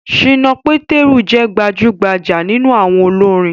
Ṣìnà Pétérù jẹ́ gbajúgbajà nínú àwọn olórin